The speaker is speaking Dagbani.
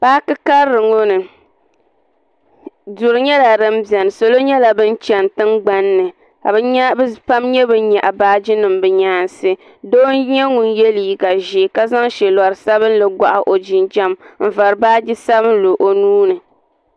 Paaki karili ŋɔ ni. Duri nyela din bieni. Salo nyela ban chani tingbanni ka bɛ pam nya ban nyaɣ' baaginim bɛ nyaansi. Doo n nye ŋun ye liiga ʒee ma zaŋ shelori sabinli gohi o jinjam n vari baaji sabinli o nuuni.